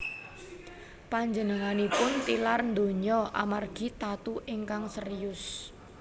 Panjenenganipun tilar donya amargi tatu ingkang serius